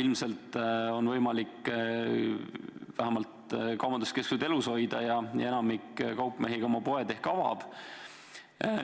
ilmselt on võimalik vähemalt kaubanduskeskused elus hoida ja enamik kaupmehi ka millalgi oma poed ehk avab.